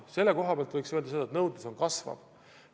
Selle koha pealt võiks öelda, et nõudlus kasvab.